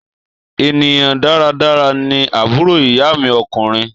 Ènìyàn dáradára ni àbúrò ìyá mi ọkùnrin.